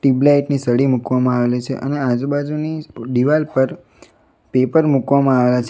Tubelight ની સળી મૂકવામાં આવેલી છે અને આજુબાજુની દિવાલ પર પેપર મૂકવામાં આવેલા છે.